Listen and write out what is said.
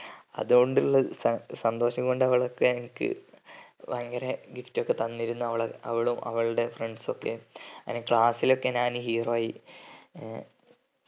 അതുകൊണ്ടുള്ള സൻ സന്തോഷം കൊണ്ടവളൊക്കെ എനിക്ക് ഭയങ്കര gift ഒക്കെ തന്നിരുന്നു അവളെ അവളും അവളുടെ friends ഒക്കെ അങ്ങനെ class ഞാന് hero ആയി ആഹ്